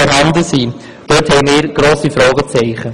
Wir setzen grosse Fragezeichen.